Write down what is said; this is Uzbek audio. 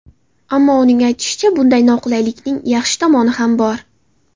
Ammo, uning aytishicha, bunday noqulaylikning yaxshi tomoni ham bor.